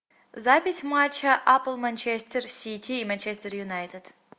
запись матча апл манчестер сити и манчестер юнайтед